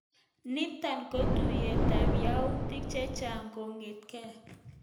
Nitok kotounet ab yautik cheyaach kongetkei.